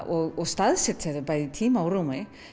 og staðsetja þau í tíma og rúmi